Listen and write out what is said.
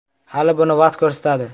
Hali buni vaqt ko‘rsatadi.